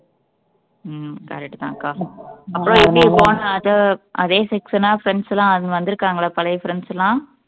உம் correct தான் அக்கா அப்புறம் எப்படி போன அது அதே section ன்னா friends எல்லாம் வந்திருக்காங்களே பழைய friends எல்லாம்